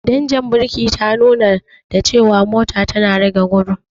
Danjar birki ta nuna da cewa mota tana rage gudu.